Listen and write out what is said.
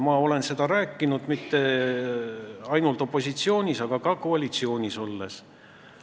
Ma olen seda rääkinud mitte ainult opositsioonis, vaid ka koalitsioonis olles.